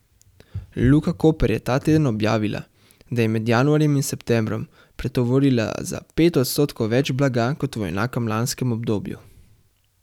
Luka Koper je ta teden objavila, da je med januarjem in septembrom pretovorila za pet odstotkov več blaga kot v enakem lanskem obdobju.